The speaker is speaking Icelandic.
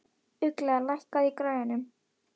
Ugla, lækkaðu í græjunum.